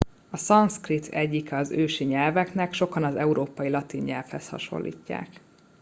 a szanszkrit egyike az ősi nyelveknek sokan az európai latin nyelvhez hasonlítják